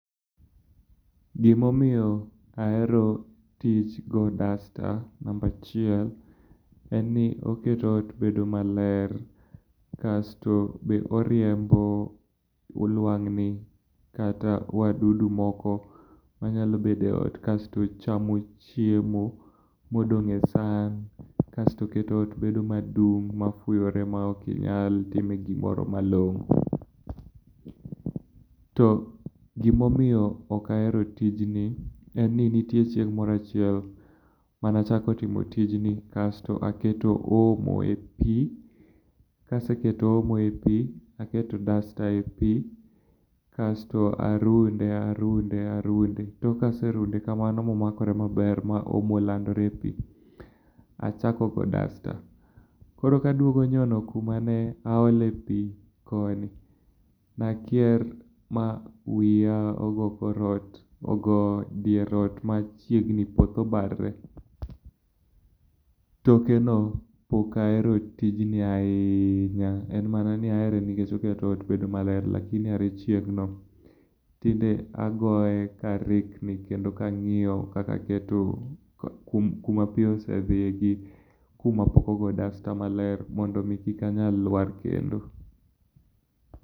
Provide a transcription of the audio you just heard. Gimomiyo ahero tich go dasta, namba achiel, en ni oketo ot bedo maler kasto be oriembo ulwang'ni kata wadudu moko manyalo bedo e ot kasto chamo chiemo modong' e san kasto oketo ot bedo madung' mafuyore mokinyal time gimoro malong'o to gimomiyo ok ahero tijni, en ni nitie chieng' moro achiel manachako timo tijni kasto aketo omo e pii. Kaseketo omo e pii, aketo dasta e pii, kasto arunde arunde arunde. Tok kaserunde kamano momakore maber ma omo olandore e pii, achako go dasta. Koro kaduogo nyono kuma ne aole pii koni, nakier ma wiya ogo kor ot, ogo dier ot machiegni poth obarre. Tokeno, pok ahero tijni ahinya, en mana ni ahere nikech oketo ot bedo maler lakini are chieng'no, tinde agoye karikni kendo kang'iyo kaka aketo kuma pii osedhiye gi kuma pok ogo dasta maler mondo mi kik anyal lwar kendo